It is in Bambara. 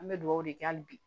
An bɛ dugawu de kɛ hali bi